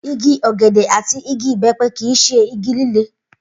Igi ò̩gè̩dè̩ àti igi ìbé̩pe̩ kì í s̩e igi líle